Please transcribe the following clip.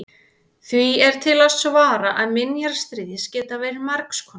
því er til að svara að minjar stríðs geta verið margs konar